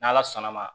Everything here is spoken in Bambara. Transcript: N'ala sɔnn'a ma